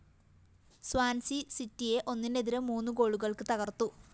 Swansea സിറ്റിയെ ഒന്നിനെതിരെ മൂന്ന് ഗോളുകള്‍ക്ക് തകര്‍ത്തു